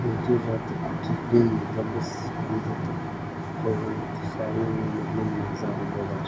үйде жатып түзден дыбыс аңдытып қойған құсалы өмірдің мазағы болар